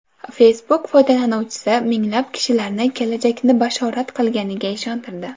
Facebook foydalanuvchisi minglab kishilarni kelajakni bashorat qilganiga ishontirdi.